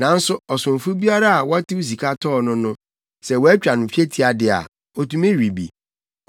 Nanso ɔsomfo biara a wɔtew sika tɔɔ no no, sɛ wɔatwa no twetia de a, otumi we bi.